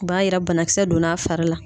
O b'a jira banakisɛ donn'a fari la